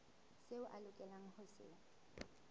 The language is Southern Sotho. seo a lokelang ho se